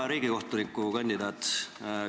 Hea riigikohtuniku kandidaat!